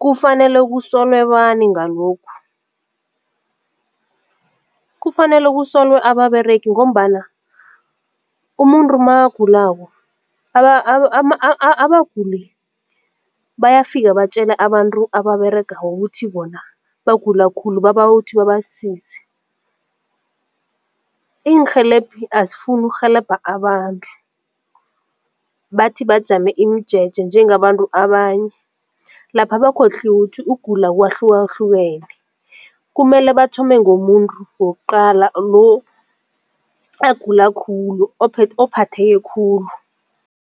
Kufanele kusulwe bani ngalokhu? Kufanele kusolwe ababeregi ngombana umuntu makagulako abaguli bayafika batjele abantu ababeregako ukuthi bona bagula khulu babawa ukuthi babasize. Iinrhelebhi azifuni ukurhelebha abantu bathi bajame imijeje njengabantu abanye lapha bakhohliwe ukuthi ukugula kwahlukahlukene kumele bathome ngomuntu wokuqala lo agula khulu ophatheke khulu.